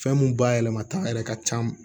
Fɛn mun ba yɛlɛmata yɛrɛ ka can